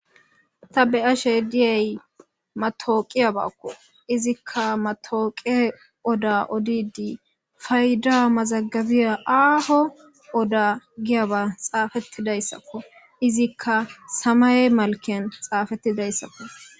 ta be ashe diyay matooqiyabaakko izikka matooqe oda odidi fayda mazagabiya aaho oda giyaba xaafettidayssakko izikka samaye malken xaafettidayssakko